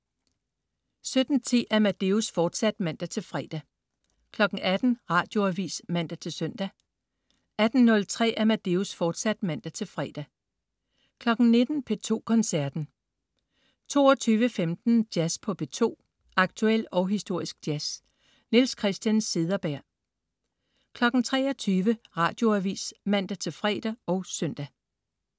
17.10 Amadeus, fortsat (man-fre) 18.00 Radioavis (man-søn) 18.03 Amadeus, fortsat (man-fre) 19.00 P2 Koncerten 22.15 Jazz på P2. Aktuel og historisk jazz. Niels Christian Cederberg 23.00 Radioavis (man-fre og søn)